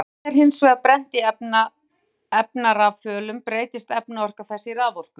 Þegar vetni er hins vegar brennt í efnarafölum breytist efnaorka þess í raforku.